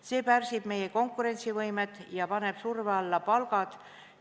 See pärsib meie konkurentsivõimet ja paneb surve alla palgad.